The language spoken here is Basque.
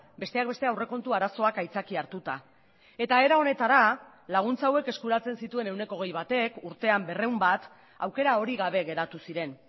besteak beste aurrekontu arazoak aitzakia hartuta eta era honetara laguntza hauek eskuratzen zituen ehuneko hogei batek urtean berrehun bat aukera hori gabe geratu ziren